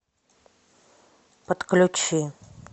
подключи